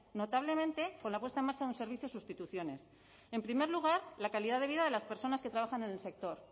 notablemente con la puesta en marcha de un servicio de sustituciones en primer lugar la calidad de vida de las personas que trabajan en el sector